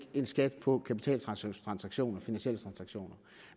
en skat på kapitaltransaktioner finansielle transaktioner